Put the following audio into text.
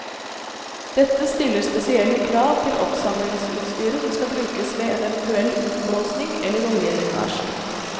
Dette stiller spesielle krav til oppsamlingsutstyret som skal brukes ved en eventuell utblåsning eller oljelekkasje.